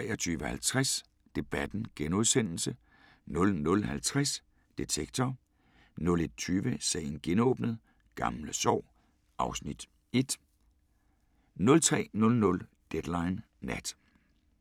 23:50: Debatten * 00:50: Detektor * 01:20: Sagen genåbnet: Gamle sår (Afs. 1) 03:00: Deadline Nat